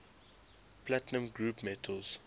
platinum group metals